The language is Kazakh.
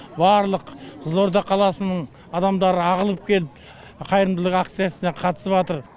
барлық қызылорда қаласының адамдары ағылып келіп қайырымдылық акциясына қатысыпатыр